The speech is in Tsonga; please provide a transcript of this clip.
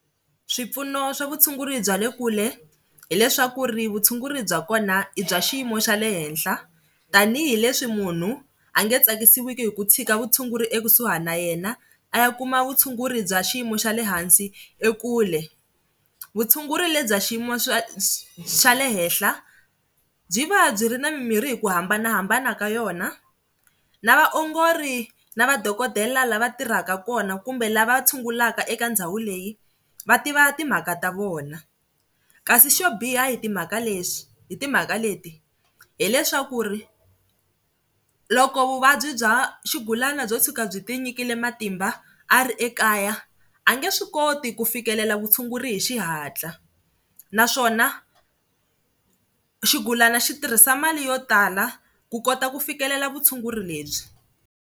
Swipfuno swa vutshunguri bya le kule hileswaku ri vutshunguri bya kona i bya xiyimo xa le henhla tanihileswi munhu a nge tsakisiki hi ku tshika vutshunguri ekusuhi na yena a ya kuma vutshunguri bya xiyimo xa le hansi ekule, vutshunguri bya xiyimo xa le henhla byi va byi ri ni mimirhi hi ku hambanahambana ka yona na vaongori na madokodela lava tirhaka kona kumbe lava tshungulaka eka ndhawu leyi va tiva timhaka ta vona kasi xo biha hi timhaka leswi hi timhaka leti hileswaku ri loko vuvabyi bya xigulana byo tshuka byi tinyikile matimba a ri ekaya a nge swi koti ku fikelela vutshunguri hi xihatla naswona xigulana xi tirhisa mali yo tala ku kota ku fikelela vutshunguri lebyi.